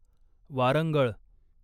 Warangal